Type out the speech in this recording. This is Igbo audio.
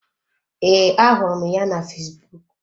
Ee, ahụrụ m ya na fesbụụk.